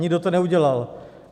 Nikdo to neudělal.